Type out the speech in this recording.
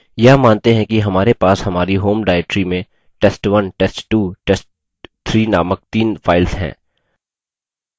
हम मानते हैं कि हमारे पास हमारी home directory में test1 test2 test3 named तीन files हैं